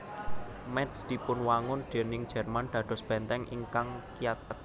Métz dipunwangun déning Jerman dados bèntèng ingkang kiyat